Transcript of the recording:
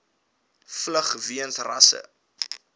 vlug weens rasse